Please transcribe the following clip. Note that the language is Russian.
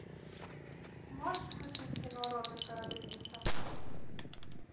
можешь включить кино роберта родригеса